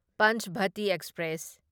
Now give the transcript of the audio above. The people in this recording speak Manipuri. ꯄꯟꯆꯚꯇꯤ ꯑꯦꯛꯁꯄ꯭ꯔꯦꯁ